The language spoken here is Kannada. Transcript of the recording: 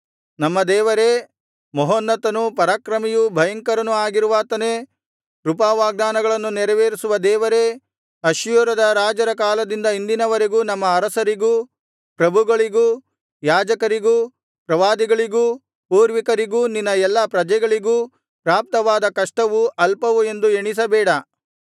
ನಮ್ಮ ದೇವರೇ ಮಹೋನ್ನತನೂ ಪರಾಕ್ರಮಿಯೂ ಭಯಂಕರನೂ ಆಗಿರುವಾತನೇ ಕೃಪಾವಾಗ್ದಾನಗಳನ್ನು ನೆರವೇರಿಸುವ ದೇವರೇ ಅಶ್ಶೂರದ ರಾಜರ ಕಾಲದಿಂದ ಇಂದಿನವರೆಗೂ ನಮ್ಮ ಅರಸರಿಗೂ ಪ್ರಭುಗಳಿಗೂ ಯಾಜಕರಿಗೂ ಪ್ರವಾದಿಗಳಿಗೂ ಪೂರ್ವಿಕರಿಗೂ ನಿನ್ನ ಎಲ್ಲಾ ಪ್ರಜೆಗಳಿಗೂ ಪ್ರಾಪ್ತವಾದ ಕಷ್ಟವು ಅಲ್ಪವು ಎಂದು ಎಣಿಸಬೇಡ